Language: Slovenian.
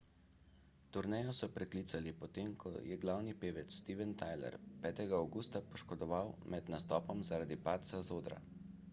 turnejo so preklicali po tem ko se je glavni pevec steven tyler 5 avgusta poškodoval med nastopom zaradi padca z odra